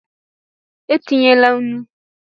E tinyela nnu!